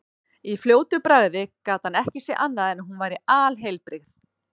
Í fljótu bragði gat hann ekki séð annað en hún væri alheilbrigð.